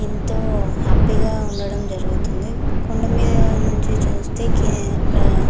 ఏంటో హ్యాపీగా ఉండడం జరుగుతుంది కొండమింద నించి చుస్తే --